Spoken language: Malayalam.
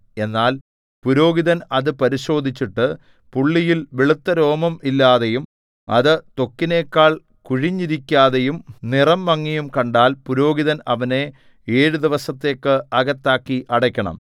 എന്നാൽ പുരോഹിതൻ അത് പരിശോധിച്ചിട്ട് പുള്ളിയിൽ വെളുത്തരോമം ഇല്ലാതെയും അത് ത്വക്കിനെക്കാൾ കുഴിഞ്ഞിരിക്കാതെയും നിറം മങ്ങിയും കണ്ടാൽ പുരോഹിതൻ അവനെ ഏഴു ദിവസത്തേക്ക് അകത്താക്കി അടയ്ക്കണം